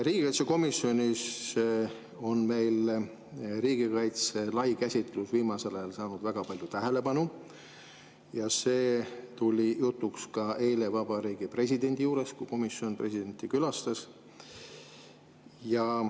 Riigikaitsekomisjonis on riigikaitse lai käsitlus viimasel ajal saanud väga palju tähelepanu ja see tuli jutuks ka eile Vabariigi Presidendi juures, kui komisjon presidenti külastas.